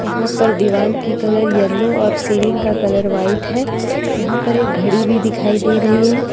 यहां पर दीवाल की कलर येलो और सीलिंग का कलर वाईट है यहां पर एक घड़ी भी दिखाई दे रही है।